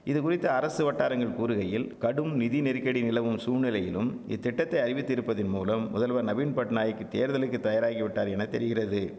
இதுகுறித்து அரசு வட்டாரங்கள் கூறுகையில் கடும் நிதி நெருக்கடி நிலவும் சூழ்நிலையிலும் இத்திட்டத்தை அறிவித்து இருப்பதின்மூலம் முதல்வர் நவீன்பட்நாயக் தேர்தலுக்கு தயாராகிவிட்டார் என தெரிகிறது